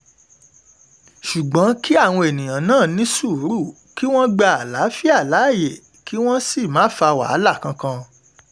ṣùgbọ́n kí àwọn èèyàn náà ní sùúrù kí wọ́n gba àlàáfíà láàyè kí wọ́n sì má fa wàhálà wàhálà kankan